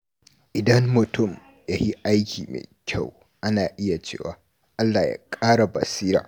Idan mutum ya yi aiki mai kyau, ana iya cewa “Allah ya ƙara basira.”